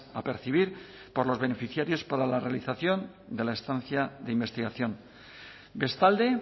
a percibir por los beneficiarios para la realización de la estancia de investigación bestalde